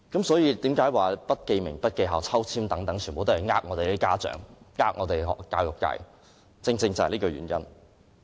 所以，我說不記名、不記校和抽樣方式全都是欺騙家長和教育界，正正便是這個原因。